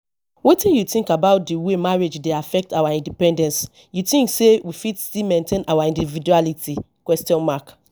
wetin you think about di way marriage dey affect our independence you think say we fit still maintain our individuality question mark